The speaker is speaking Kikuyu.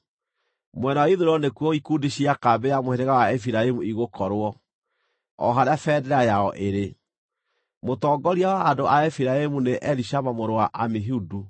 Mwena wa ithũĩro nĩkuo ikundi cia kambĩ ya mũhĩrĩga wa Efiraimu igũkorwo, o harĩa bendera yao ĩrĩ. Mũtongoria wa andũ a Efiraimu nĩ Elishama mũrũ wa Amihudu.